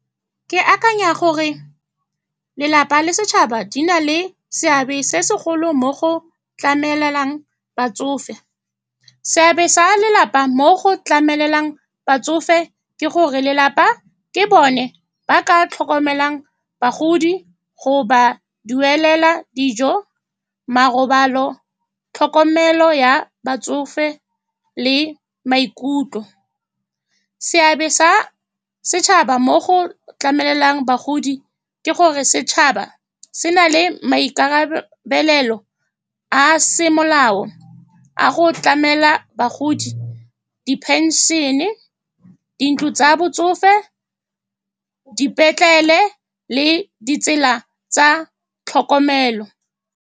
Ke akanya gore lelapa le setšhaba di na le seabe se segolo mo go tlamelelang batsofe. Seabe sa lelapa mo go tlamelelang batsofe ke gore lelapa ke bone ba ka tlhokomelang bagodi, go ba duelela dijo, marobalo, tlhokomelo ya batsofe le maikutlo. Seabe sa setšhaba mo go tlamelelang bagodi ke gore setšhaba se na le maikarabelo a se molao a go tlamela bagodi di-pension-e, dintlo tsa botsofe, dipetlele le ditsela tsa tlhokomelo.